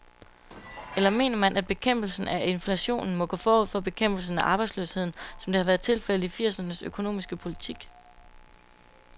Eller mener man, at bekæmpelsen af inflationen må gå forud for bekæmpelsen af arbejdsløsheden, som det har været tilfældet i firsernes økonomiske politik.